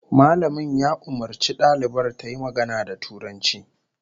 Malamin ya umarci dalibar tayi magana da Turanci